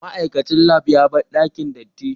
Ma'aikacin lab ya bar dakin datti.